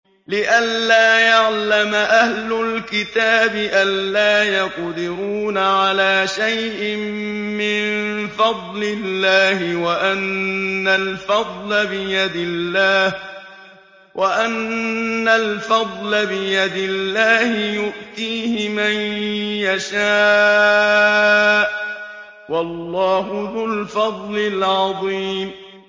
لِّئَلَّا يَعْلَمَ أَهْلُ الْكِتَابِ أَلَّا يَقْدِرُونَ عَلَىٰ شَيْءٍ مِّن فَضْلِ اللَّهِ ۙ وَأَنَّ الْفَضْلَ بِيَدِ اللَّهِ يُؤْتِيهِ مَن يَشَاءُ ۚ وَاللَّهُ ذُو الْفَضْلِ الْعَظِيمِ